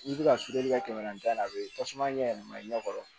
N'i bɛ ka suturali kɛ kɛmɛ naani ta a bɛ tasuma ɲɛ yɛlɛma i ɲɛ kɔrɔ